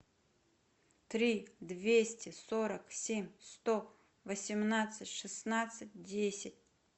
три двести сорок семь сто восемнадцать шестнадцать десять